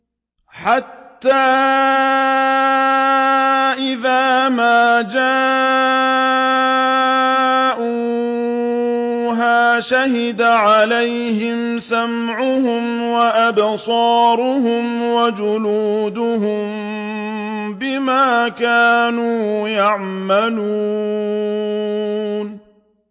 حَتَّىٰ إِذَا مَا جَاءُوهَا شَهِدَ عَلَيْهِمْ سَمْعُهُمْ وَأَبْصَارُهُمْ وَجُلُودُهُم بِمَا كَانُوا يَعْمَلُونَ